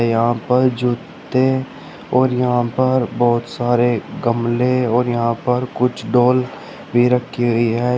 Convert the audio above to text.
यहां पर जूते और यहां पर बहुत सारे गमले और यहां पर कुछ डॉल भी रखी हुई है।